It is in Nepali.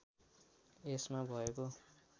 यसमा भएको